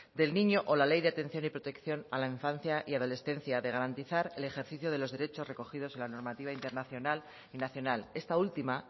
del niño o la ley de atención y protección a la infancia y adolescencia de garantizar el ejercicio de los derechos recogidos en la normativa internacional y nacional esta última